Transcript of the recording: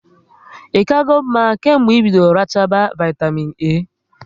Ị kago mma kemgbe ị bidoro rachaba vaitamịn A?